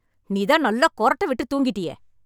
நீதான் நல்லா கொறட்டை விட்டு தூங்கிட்டியே..